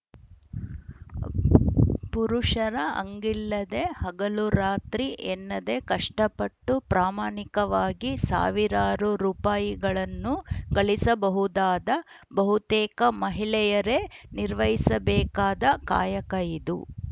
ಪುರುಷರ ಹಂಗಿಲ್ಲದೆ ಹಗಲು ರಾತ್ರಿ ಎನ್ನದೆ ಕಷ್ಟಪಟ್ಟು ಪ್ರಾಮಾಣಿಕವಾಗಿ ಸಾವಿರಾರು ರುಪಾಯಿಗಳನ್ನು ಗಳಿಸಬಹುದಾದ ಬಹುತೇಕ ಮಹಿಳೆಯರೇ ನಿರ್ವಹಿಸಬೇಕಾದ ಕಾಯಕ ಇದು